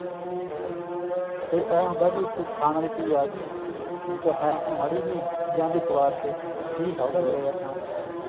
ਕਈ ਐਂ ਹੁੰਦਾ ਵੀ ਕੋਈ ਖਾਣ ਵਾਲੀ ਚੀਜ਼ ਆ ਗਈ ਠੀਕ ਹੈ ਮਾੜੀ ਜਿਹੀ ਲਿਆਂਦੀ ਇੱਕ ਵਾਸਤੇ ਜੀ ਸਭ ਦਾ ਕਰਿਆ ਖਾਣ ਨੂੰ